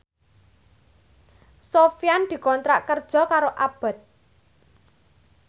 Sofyan dikontrak kerja karo Abboth